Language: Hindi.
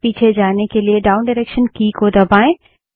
पीछे जाने के लिए डाउन डायरेक्सन की दबायें